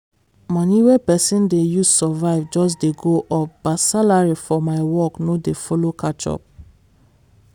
money wey pesin dey use survive just dey go up but salary for my work no dey follow catch up.